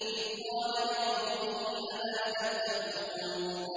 إِذْ قَالَ لِقَوْمِهِ أَلَا تَتَّقُونَ